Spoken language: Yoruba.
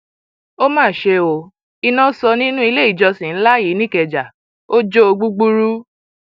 ó mà ṣe ó iná sọ nínú ilé ìjọsìn ńlá yìí nìkẹjà ò jó o gbúgbúrú